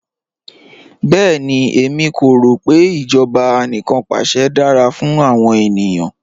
Bẹẹni, ẹ̀mí kò rọ pe ijọba àníkanpàṣẹ̀ dara fún awọn ènìyàn